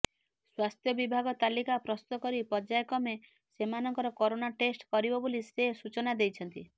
ସ୍ୱାସ୍ଥ୍ୟ ବିଭାଗ ତାଲିକା ପ୍ରସ୍ତୁତ କରି ପର୍ଯ୍ୟାୟକ୍ରମେ ସେମାନଙ୍କର କରୋନା ଟେଷ୍ଟ କରିବ ବୋଲି ସେ ସୂଚନା ଦେଇଛନ୍ତି